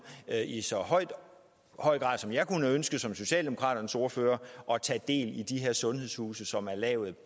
i så høj høj grad som jeg kunne ønske som socialdemokraternes ordfører at tage del i de her sundhedshuse som er lavet